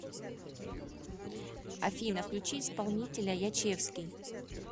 афина включи исполнителя ячевский